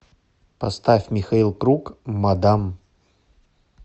поставь михаил круг мадам